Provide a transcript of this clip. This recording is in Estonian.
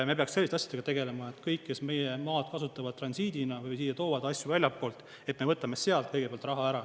Me peaksime selliste asjadega tegelema, et kõik, kes meie maad kasutavad transiidina või siia toovad asju väljastpoolt, et me võtame sealt kõigepealt raha ära.